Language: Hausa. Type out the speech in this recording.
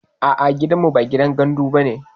A'a gidanmu ba gidan gandu bane